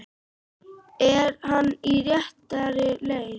Er hann á réttri leið?